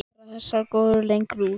Allar þessar lóðir gengu út.